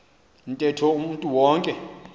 ntetho umntu wonke